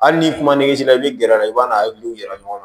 Hali ni kuma ni misi la i bɛ gɛrɛ a la i b'a n'aw yira ɲɔgɔn na